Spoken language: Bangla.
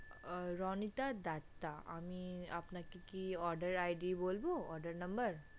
আহ রণিতা দত্তা আমি আপনাকে কি order ID বলবো order number?